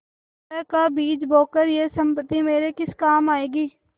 कलह का बीज बोकर यह सम्पत्ति मेरे किस काम आयेगी